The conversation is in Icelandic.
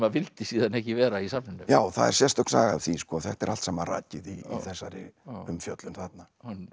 vildi síðan ekki vera í safninu já það er sérstök saga af því þetta er allt saman rakið í þessari umfjöllun þarna